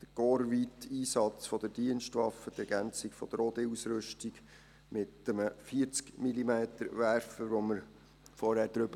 der korpsweite Einsatz der Dienstwaffe, die Ergänzung der OD-Ausrüstung mit einem 40-mm-Werfer, über den wir vorhin gesprochen haben.